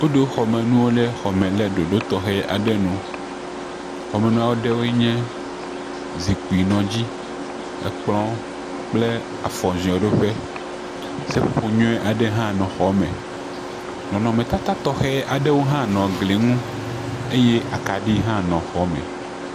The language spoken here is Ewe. Woɖo xɔ me nuwo ɖe ɖoɖo tɔxe aɖe nu. Xɔmenua aɖewoe nye zikpui nɔ dzi, kplɔ kple afɔ zeoɖo ƒe. Seƒoƒoƒ nyui aɖe hã nɔ xɔa me. Nɔnɔme tata tɔxɛwo hã nɔ gli ŋu aye kaɖiwo hã nɔ xɔa me.